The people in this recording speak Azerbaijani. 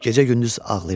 Gecə-gündüz ağlayırdı.